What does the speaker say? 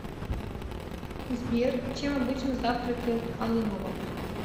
сбер чем обычно завтракает алымова